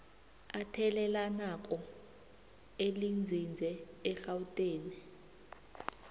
athelelanako elinzinze egauteng